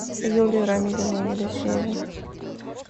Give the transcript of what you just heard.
юлии рамилевны елисеевой